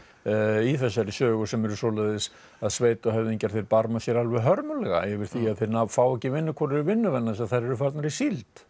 í þessari sögu sem eru svoleiðis að barma sér alveg hörmulega yfir því að þeir fá ekki vinnukonur í vinnu vegna þess að þær eru farnar í síld